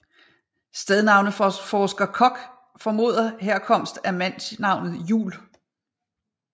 Stednavneforsker Kok formoder herkomst af mandsnavnet Jul